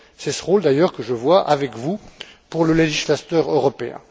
C'est ce rôle d'ailleurs que j'envisage, avec vous, pour le législateur européen.